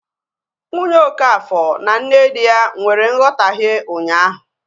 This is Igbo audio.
Nwunye okafor na nne di ya nwere nghotahie ụnyaahụ